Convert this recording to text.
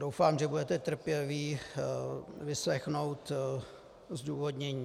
Doufám, že budete trpěliví vyslechnout zdůvodnění... .